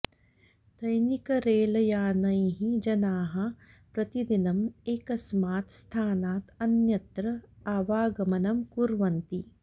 दैनिकरेलयानैः जनाः प्रतिदिनम् एकस्मात् स्थानात् अन्यत्र आवागमनं कुर्वन्ति